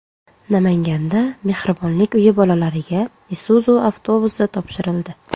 Namanganda Mehribonlik uyi bolalariga Isuzu avtobusi topshirildi .